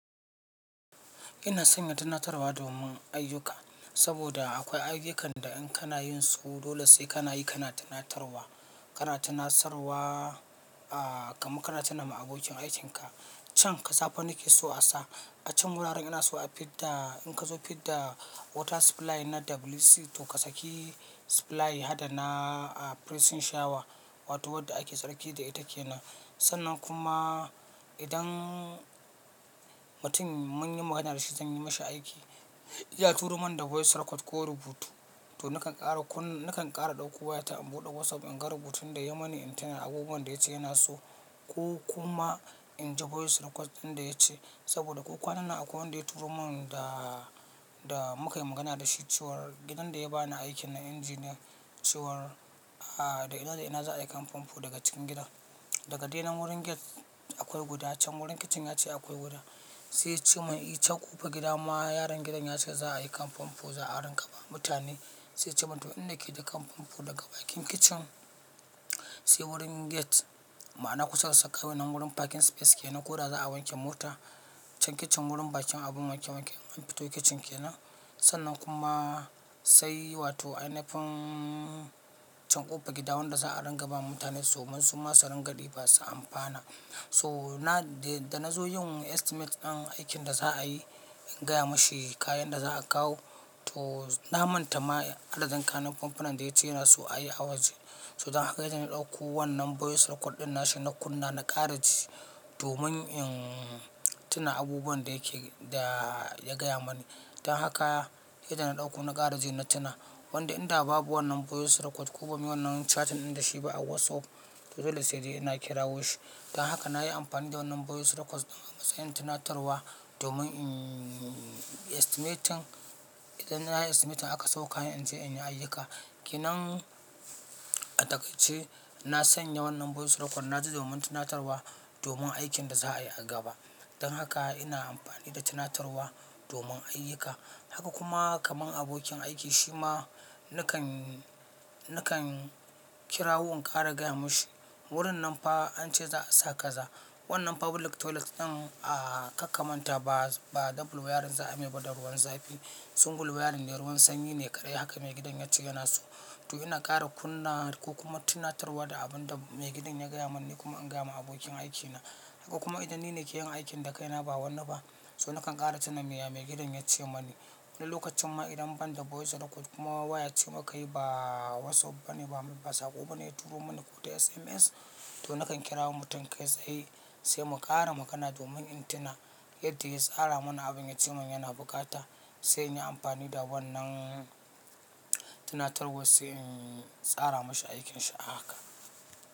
Ina sanya tunatarwa domin ayyuka, saboda akwai ayyukan da in kana yin su dole sai kana yi kana tunatarwa. Kana tunasarwa, a, kamar kana tuna ma abokin aikinka. Can, kaza fa nake so a sa. A can wuraren ina so a fid da in ka zo fid da water supply na WC to ka saki supply hada na a pressing shower wato wadda ake tsarki da ita kenan. Sannan kuma idan mutum mun yi magana da shi zan yi mashi aiki, ya turo mani da voice record ko rubutu. To nakan ƙara kunna-- nakan ƙara ɗauko wayata in buɗe WhatsApp in ga rubutun da ya yi mani in ta ya abubuwan da ya ce yana so ko kuma in ji voice record din da ya ce. Saboda ko kwanan nan akwai wanda ya turo mun da, da muka yi magana da shi cewar gidan da ya ba ni aikin na engineer cewar, a, da ina da ina za a yi kan fanfo daga cikin gida. Daga dai nan wurin gate akwai guda can wurin kitchen ya ce akwai guda. Sai ya ce mun, "e, can ƙofar gida ma yaron gidan ya ce za a yi kan fanfo za a ranga ba mutane." Sai ya ce min, "to inda kai da kan fanfo daga bakin kitchen sai wurin gate." Ma'ana kusa da suckaway nan wurin parking space kenan ko da za a wanke mota can kitchen wurin bakin abun wanke wanke in an fito kitchen kenan. Sannan kuma sai wato ainafin can ƙofar gida wanda za a ranga ba mutane so mun suma su ringa diba su amfana. So na da, da na zo yin estimate ɗin aikin da za a yi, in gaya mashi kayan da za a kawo to na manta ma adadin kayan na fonfona da ya ce yana so a yi a waje. So dan haka yadda na ɗauko wannan voice record din nashi na kunna na ƙara ji domin in tuna abubuwan da yake, da ya gaya mani. Dan haka yadda na ɗauko na ƙara ji na tuna. Wanda inda babu wannan voice record ko ba mu yi wannan chatting ɗin da shi ba a WhatsApp to dole sai dai ina kirawo shi. Dan haka na yi amfani da wannan voice record a matsayin tunatarwa domin in estimating, idan na yi estimating aka sau kayan in zai in yi ayyuka. Kenan a taƙaice na sanya wannan voice record na ji domin tunatarwa domin aikin da za a yi a gaba. Dan haka ina amfani da tunatarwa domin ayyuka. Haka kuma kaman abokin aiki shi ma nakan, nakan kirawo in ƙara gaya mashi. Wurin nan fa an ce za a sa kaza. Wannan public toilet ɗin a, ka kamanta ba, ba double wayarin za a yi mai ba da ruwan zafi. Single wayarin ne ruwan sanyi ne ƙare haka maigidan ya ce yana so. To ina ƙara kunna ko kuma tunatarwa da abun da maigidan ya gaya mani ni kuma in gaya ma abokin aikina. Haka kuma idan ni ne ke yin aikin da kaina ba wani ba so nakan ƙara tuna me ya maigidan ya ce mani. Wani lokacin ma idan ban da voice record kuma waya ce muka yi ba WhatsApp ba ne ba sako ba ne ya turo mani ko ta SMS to nakan kira mutum kai sai, sai mu ƙara magana domin in tuna yadda ya tsara mana abin ya ce mun yana buƙata sai in yi amfani da wannan tunatarwa sai in tsara mashi aikinsa a haka.